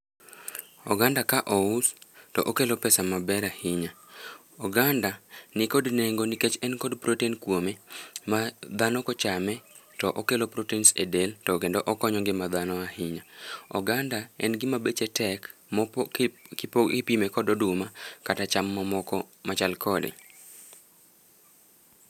Oganda ka ous, to okelo pesa maber ahinya. Oganda nikod nengo nikech en kod protein kuome, ma dhano kochame to okelo proteins e del, to kendo okonyo ngima dhano ahinya. Oganda en gima beche tek, kipime kod oduma, kata cham mamoko machal kode.